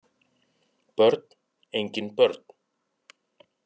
Börn: engin börn